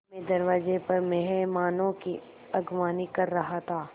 मैं दरवाज़े पर मेहमानों की अगवानी कर रहा था